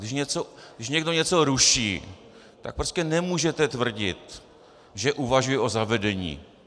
Když někdo něco ruší, tak prostě nemůžete tvrdit, že uvažuje o zavedení.